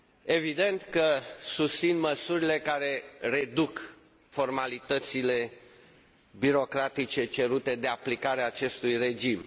Evident că susțin măsurile care reduc formalitățile birocratice cerute de aplicarea acestui regim.